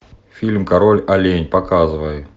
фильм король олень показывай